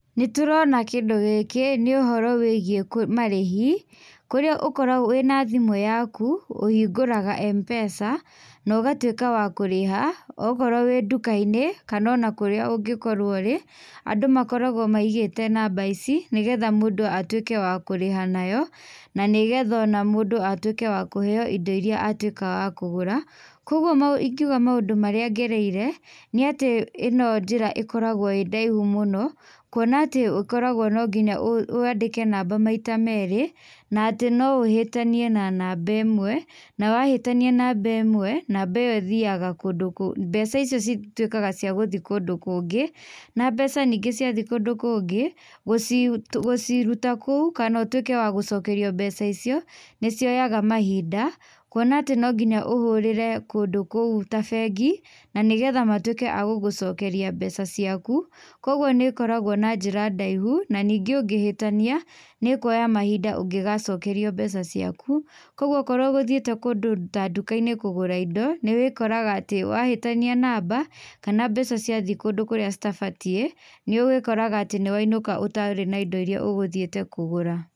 Nĩ tũrona kĩndũ gĩkĩ nĩ ũhoro wĩgiĩ marĩhi kũrĩa ũkoragũo wĩna thĩmu yaku ũhingũraga M-pesa na ũgatuĩka wa kũrĩha okorũo wĩ ndukainĩ kana o kũrĩa ũngĩkorũo ũrĩ. Andũ makoragũo maigĩte namba ici nĩgetha mũndũ atuĩke wa kũrĩha nayo na nĩgetha ona mũndũ atuĩke wa kũheo indo irĩa atuĩka wa kũgũra. Kwoguo ingiuga maũndũ marĩa ngereire nĩ atĩ ĩno njĩra ĩkoragũo ĩĩ ndaihu mũno kuona atĩ ũkoragũo no nginya wandĩke namba maita merĩ, na atĩ no ũhĩtanie na namba ĩmwe, na wahĩtania namba ĩmwe, namba ĩyo ĩthiaga, mbeca icio cituĩkaga cia gũthiĩ kũndũ kũngĩ. Na mbeca ningĩ ciathiĩ kũndũ kũngĩ, gũciruta kũu kana ũtuĩke wa gũcokerio mbeca icio nĩ cioyaga mahinda. Kuona atĩ no nginya ũhũrĩre kũndũ kũu ta bengi na nĩgetha matuĩke a gũgũcokeria mbeca ciaku. Kwoguo nĩ ĩkoragũo na njĩra ndaihu na ningĩ ũngĩhĩtania nĩ ĩkuoya mahinda ũgĩgacokerio mbeca ciaku. Kwoguo okorũo ũgũthiĩte kũndũ ta nduka-inĩ kũgũra indo, nĩ wĩkorga atĩ wahĩtania namba kana mbeca ciathiĩ kũndũ kũrĩa citabatiĩ, nĩ wĩkoraga atĩ nĩ wainũka ũtarĩ na indo irĩa ũgũthiĩte kũgũra.